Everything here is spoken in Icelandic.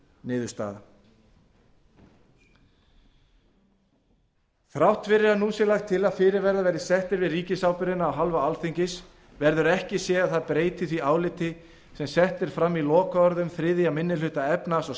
niðurstaða þrátt fyrir að nú sé lagt til að fyrirvarar verði settir við ríkisábyrgðina af hálfu alþingis verður ekki séð að það breyti því áliti sem sett er fram í lokaorðum þriðji minni hluta efnahags og